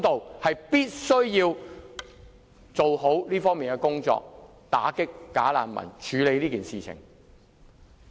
政府必須做好這方面的工作，打擊"假難民"，處理這件事。